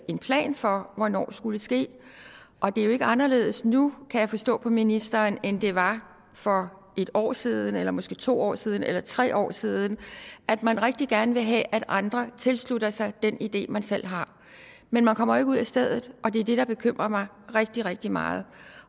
en plan for hvornår skulle ske og det er jo ikke anderledes nu kan jeg forstå på ministeren end det var for en år siden eller måske to år siden eller tre år siden og at man rigtig gerne vil have at andre tilslutter sig den idé man selv har men man kommer jo ikke ud af stedet og det er det der bekymrer mig rigtig rigtig meget